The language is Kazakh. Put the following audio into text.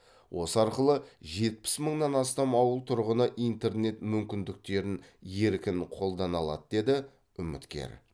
осы арқылы жетпіс мыңнан астам ауыл тұрғыны интернет мүмкіндіктерін еркін қолдана алады деді үміткер